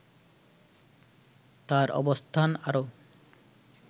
তার অবস্থান আরও